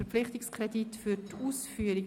Verpflichtungskredit für die Ausführung».